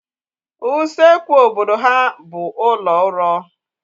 Usekwu obodo ha bụ ụlọ uro